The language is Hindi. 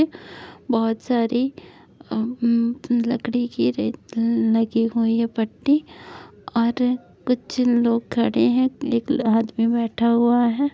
बहुत सारी अ अ लकड़ी की लगी हुई है पट्टी और कुछ लोगों खड़े हैं और पीला-पीला आदमी बैठा हुआ है।